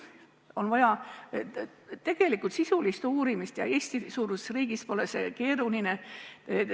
On vaja tegelikult sisulist uurimist ja Eesti-suuruses riigis pole see keeruline.